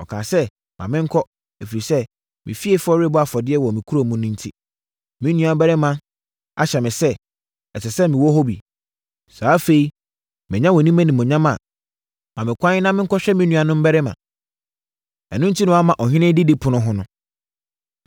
Ɔkaa sɛ, ‘Ma menkɔ, ɛfiri sɛ, me fiefoɔ rebɔ afɔdeɛ wɔ kuro no mu enti, me nuabarima ahyɛ me sɛ, ɛsɛ sɛ mewɔ hɔ bi. Sɛ afei, manya wʼanim animuonyam a, ma me kwan na menkɔhwɛ me nuanom mmarima.’ Ɛno enti na wamma ɔhene didipono ho no.”